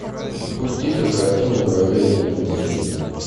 запусти ка картину дорогая елена сергеевна